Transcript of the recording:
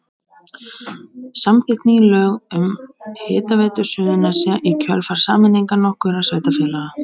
Samþykkt ný lög um Hitaveitu Suðurnesja í kjölfar sameiningar nokkurra sveitarfélaga.